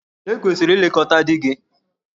E kwesịrị ilekọta di gị.